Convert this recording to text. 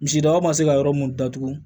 Misi daba ma se ka yɔrɔ mun datugu